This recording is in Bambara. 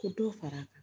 Ko dɔ far'a kan